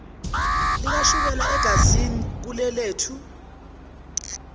likashukela egazini ulelethu